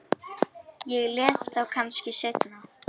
Ég les þá kannski seinna.